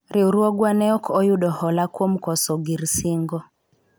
riwruogwa ne ok oyudo hola kuom koso gir singo